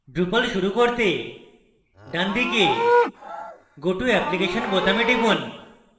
drupal শুরু করতে ডানদিকে go to application বোতামে টিপুন